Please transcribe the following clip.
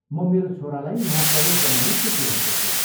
म मेरो छोरालाई यहाँ प्रवेश गराउने सोचिरहेको छु।